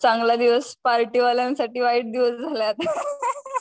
चांगला दिवस पार्टी वलयं साठी वाईट दिवस झालाय आता